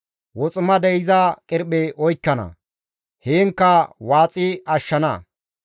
Woximadey iza qirphe oykkana; heenkka waaxi ashshana.